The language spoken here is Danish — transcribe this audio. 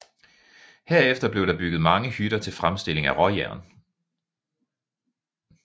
Herefter blev der bygget mange hytter til fremstilling af råjern